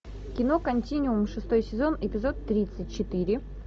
кино континуум шестой сезон эпизод тридцать четыре